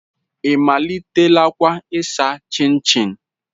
Ị malitelakwa ịsa chinchi?